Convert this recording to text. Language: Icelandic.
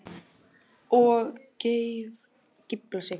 Og geiflar sig.